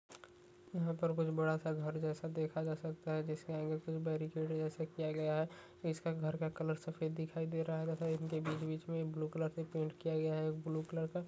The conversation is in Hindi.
यहाँ पर कुछ बड़ा सा घर जैसा देखा जा सकता हे जिसके आगे कुछ बैरिकेड जैसे किया गया है इसका घर का कलर सफेद दिखाई दे रहा है तथा इनके बीच बीच में ब्लू कलर से पेंट किया गया है ब्लू कलर का।